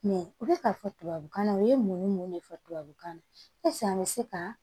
Mɛ u bɛ k'a fɔ tubabukan na u ye mun ni mun de fɔ tubabukan na an bɛ se ka